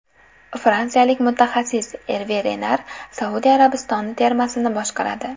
Fransiyalik mutaxassis Erve Renar Saudiya Arabistoni termasini boshqaradi.